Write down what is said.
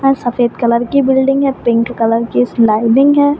और सफ़ेद कलर की बिल्डिंग है। पिंक कलर की स्लाइडिंग है।